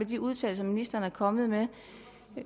de udtalelser ministeren er kommet med